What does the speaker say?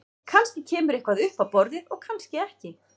Kannski kemur eitthvað upp á borðið og kannski ekki.